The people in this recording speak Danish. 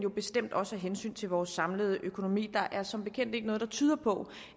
og bestemt også af hensyn til vores samlede økonomi for der er som bekendt ikke noget der tyder på